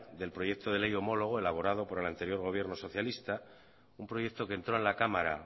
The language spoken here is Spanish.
del proyecto de ley homologo elaborado por el anterior gobierno socialista un proyecto que entró en la cámara